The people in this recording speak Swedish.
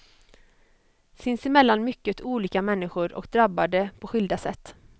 Sinsemellan mycket olika människor och drabbade på skilda sätt.